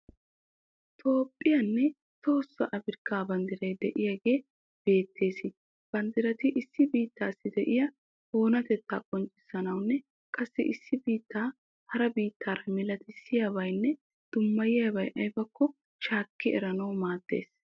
Toophphiyanne tohossa Afirkkaa banddiray de'iyagee beettees. Banddirati issi biittaassi de'iya oonatettaa qonccissanawunne qassi issi biittaa hara biittaara milatissiyabayinne dummayiyabay ayibakko shaakki eranawu maaddees.